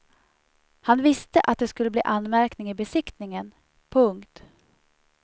Han visste att det skulle bli anmärkning i besiktningen. punkt